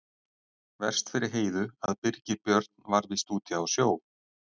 Verst fyrir Heiðu að Birgir Björn var víst úti á sjó.